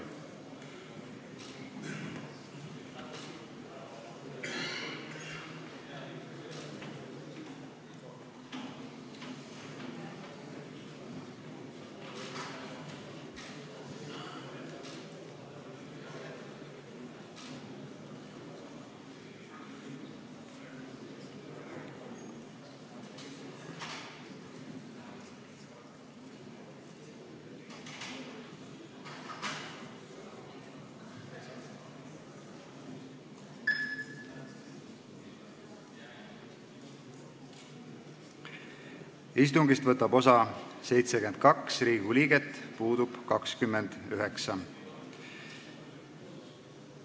Kohaloleku kontroll Istungist võtab osa 72 Riigikogu liiget, puudub 29.